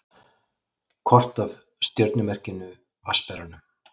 Kort af stjörnumerkinu Vatnsberanum.